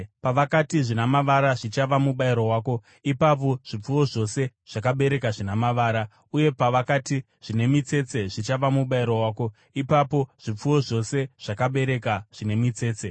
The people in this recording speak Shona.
Pavakati, ‘Zvina mavara zvichava mubayiro wako,’ ipapo zvipfuwo zvose zvakabereka zvina mavara, uye pavakati, ‘Zvine mitsetse zvichava mubayiro wako,’ ipapo zvipfuwo zvose zvakaberekwa zvine mitsetse.